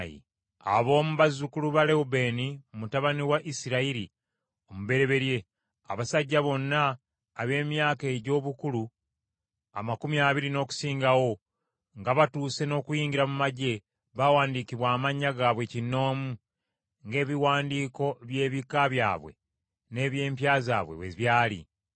Ab’omu bazzukulu ba Lewubeeni, mutabani wa Isirayiri omubereberye: Abasajja bonna ab’emyaka egy’obukulu amakumi abiri n’okusingawo, nga batuuse n’okuyingira mu magye, baawandiikibwa amannya gaabwe kinnoomu, ng’ebiwandiiko by’ebika byabwe n’eby’empya zaabwe bwe byali.